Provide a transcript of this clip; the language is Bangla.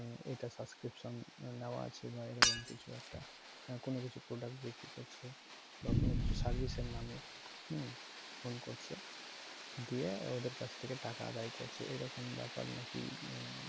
এটা subscription নেওয়া আছে বা এরকম কিছু একটা কোনো কিছু product বিক্রি করছে বা কোনো কিছু service এর নামে হম phone করছে দিয়ে ওদের কাছ থেকে টাকা আদায় করছে এরকম ব্যাপার নাকি